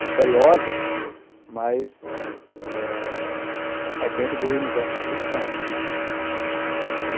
misteriosas, mas é dentro do universo da ficção.